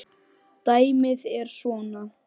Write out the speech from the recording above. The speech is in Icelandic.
Dæmið er svona